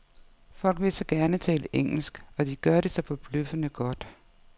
Folk vil så gerne tale engelsk, og de gør det så forbløffende godt.